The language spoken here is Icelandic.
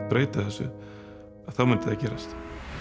breyta þessu að þá myndi það gerast